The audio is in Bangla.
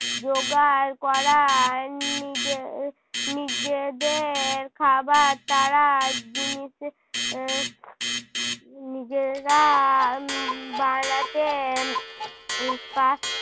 জোগাড় করা নিজে~ উহ নিজেদের খাবার তারা জিনিস আহ নিজেরা বানাতে উহ পার~